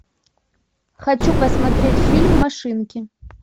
хочу посмотреть фильм машинки